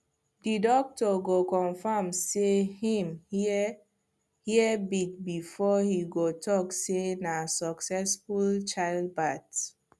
the doctor go confirm say him hear hearbeat before he go talk say na succesful childbirth